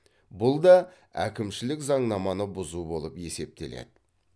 бұл да әкімшілік заңнаманы бұзу болып есептеледі